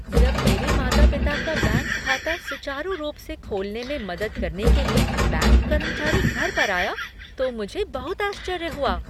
जब मेरे माता पिता का बैंक खाता सुचारू रूप से खोलने में मदद करने के लिए बैंक कर्मचारी घर पर आया तो मुझे बहुत आश्चर्य हुआ।